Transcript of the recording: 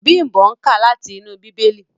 Bimbo nká láti inú Bibeli.